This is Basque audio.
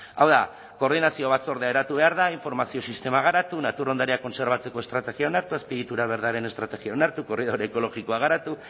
hau da koordinazio batzordea eratu behar da informazio sistemak garatu natur ondarea kontserbatzeko estrategia onartu azpiegitura berdearen estrategia onartu korridore ekologikoa garatu